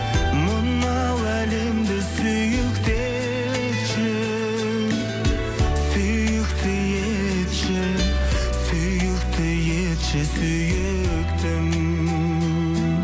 мынау әлемді сүйікті етші сүйікті етші сүйікті етші сүйіктім